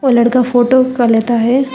वह लड़का फोटो का लेता है।